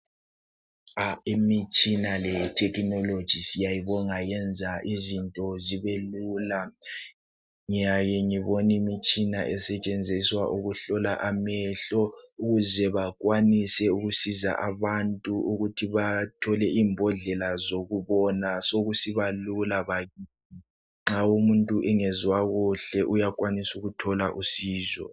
Imitshina lethekhinoloji siyayibonga yenza izinto zibe lula. Ngiyake ngibone imitshina esetshenziswa ukuhlola amehlo ukuze bakwanise ukusiza abantu ukuze bathole imbodlela zokubona sokusiba lula nxa umuntu engezwa kuhle uyakwanisa ukuthola usizo.